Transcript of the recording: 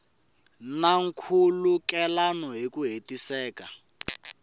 na nkhulukelano hi ku hetiseka